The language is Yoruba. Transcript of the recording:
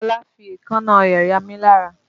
Ọlá fi èékánná rẹ̀ yamí lára